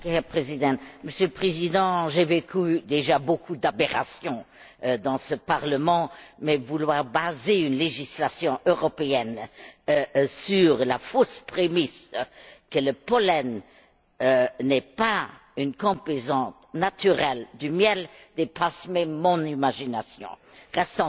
Monsieur le Président, j'ai déjà vu beaucoup d'aberrations dans ce Parlement mais vouloir baser une législation européenne sur la fausse prémisse que le pollen n'est pas une composante naturelle du miel dépasse mon imagination. Restons sérieux!